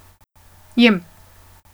Jem.